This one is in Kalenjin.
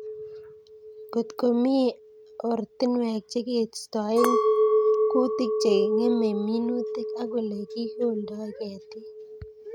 Ngotkomi oratinwek chekeistoe kutik chengemei minutik, ak Ole kikoldoi ketik